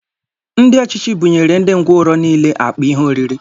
Ndị ọchịchị buṅyere ndị ngwọrọ nile akpa ihe oriri